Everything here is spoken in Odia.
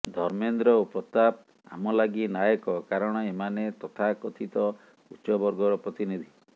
ଧର୍ମେନ୍ଦ୍ର ଓ ପ୍ରତାପ ଆମ ଲାଗି ନାୟକ କାରଣ ଏମାନେ ତଥାକଥିତ ଉଚ୍ଚ ବର୍ଗର ପ୍ରତିନିଧି